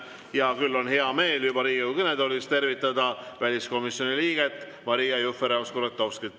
Ja küll on hea meel juba Riigikogu kõnetoolis tervitada väliskomisjoni liiget Maria Jufereva‑Skuratovskit.